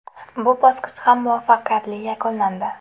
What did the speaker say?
Bu bosqich ham muvaffaqiyatli yakunlandi.